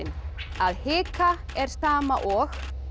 að hika er sama og